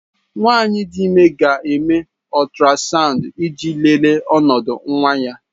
Nwanyị dị ime ga-eme ultrasound iji lelee ọnọdụ nwa ya.